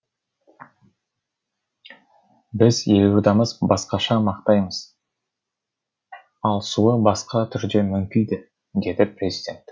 біз елордамызды басқаша мақтаймыз ал суы басқа түрде мүңкиді деді президент